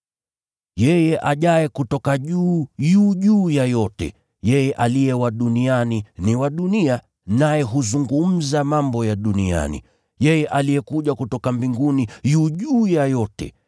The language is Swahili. “Yeye ajaye kutoka juu yu juu ya yote, yeye aliye wa duniani ni wa dunia, naye huzungumza mambo ya duniani. Yeye aliyekuja kutoka mbinguni, yu juu ya yote.